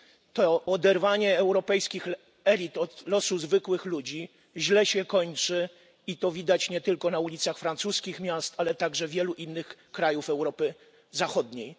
To oderwanie europejskich elit od losu zwykłych ludzi źle się kończy i to widać nie tylko na ulicach francuskich miast, ale także wielu innych krajów Europy Zachodniej.